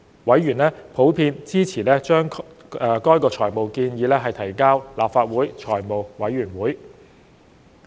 委員普遍支持將該財務建議提交立法會財務委員會。